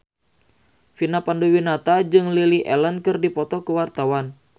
Vina Panduwinata jeung Lily Allen keur dipoto ku wartawan